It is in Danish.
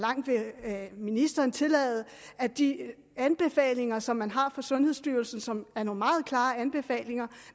ministeren tillade at de anbefalinger som man har fra sundhedsstyrelsen og som er nogle meget klare anbefalinger